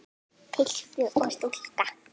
Piltur og stúlka.